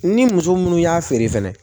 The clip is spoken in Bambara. Ni muso munnu y'a feere fɛnɛ